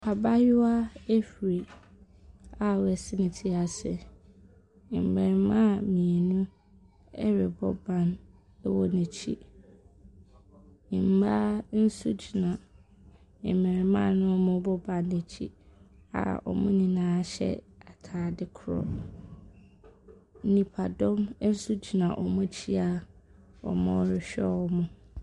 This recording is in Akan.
Abaayewa ahuri a wasi ne tri ase. Mbɛɛmaa mmienu ɛrebɔ ban ɛwɔ n'akyi. Mmaa nso gyina ɛmarimaa na ɔmoo ban n'akyin a mo nyinaa hyɛ ataade korɔ. Nnipadɔm ɛnso gyina ɔm'akyi a ɔmo rehwɛ ɔɔmo.